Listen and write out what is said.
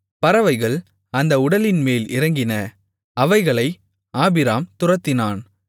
பறவைகள் அந்த உடல்களின்மேல் இறங்கின அவைகளை ஆபிராம் துரத்தினான்